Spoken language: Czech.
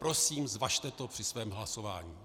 Prosím, zvažte to při svém hlasování.